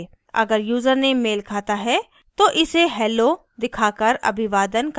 अगर यूज़रनेम मेल खाता है तो इसे hello दिखाकर अभिवादन करना चाहिए